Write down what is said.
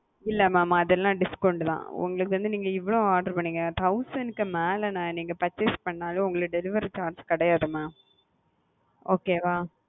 இல்ல mam அதெல்லாம் discount தான் உங்களுக்கு வந்து நீங்க இவ்வளவு order பண்ணீங்க thousand க்கு மேல நீங்க purchase பண்ணாலே உங்களுக்கு delivery charge கிடையாது mam.